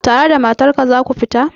Tare da matar ka za ku fita?